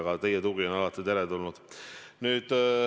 Aga teie tugi on alati teretulnud.